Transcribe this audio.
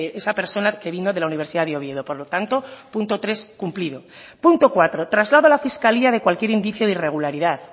esa persona que vino de la universidad de oviedo por lo tanto punto tres cumplido punto cuatro traslado a la fiscalía de cualquier indicio de irregularidad